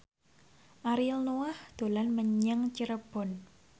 Ariel Noah dolan menyang Cirebon